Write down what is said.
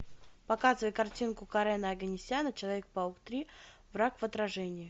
показывай картинку карена оганесяна человек паук три враг в отражении